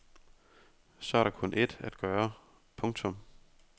Så er der kun ét at gøre. punktum